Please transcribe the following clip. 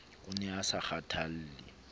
o ne a sa kgathalle